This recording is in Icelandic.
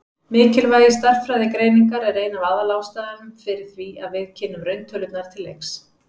Mikilvægi stærðfræðigreiningar er ein af aðalástæðunum fyrir því að við kynnum rauntölurnar til leiks.